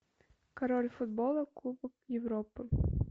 король футбола кубок европы